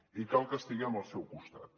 i cal que estiguem al seu costat